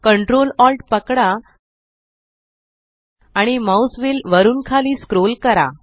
ctrl alt पकडा आणि mouse wheel वरुन खाली स्क्रोल करा